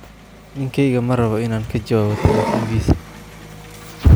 Ninkeyga ma rabo inaan ka jawaabo taleefankiisa.